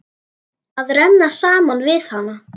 Að renna saman við hana.